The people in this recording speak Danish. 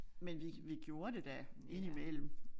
Men vi vi gjorde det da indimellem